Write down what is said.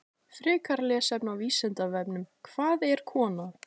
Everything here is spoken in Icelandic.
Frekara lesefni á Vísindavefnum: Hvað er kona?